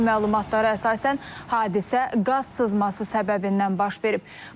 İlkin məlumatlara əsasən hadisə qaz sızması səbəbindən başlayıb.